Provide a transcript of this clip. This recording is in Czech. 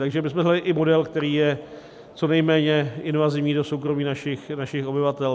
Takže my jsme hledali i model, který je co nejméně invazivní do soukromí našich obyvatel.